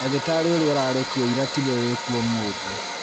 Ndagĩtarĩ ũrĩa ũrarĩ kuo ĩra tiwe wĩ kuo ũmũthĩ